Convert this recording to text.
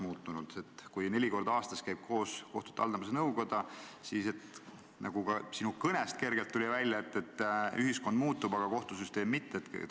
Kui kohtute haldamise nõukoda käib koos neli korda aastas, siis, nagu ka sinu kõnest kergelt välja tuli, ühiskond muutub, aga kohtusüsteem mitte.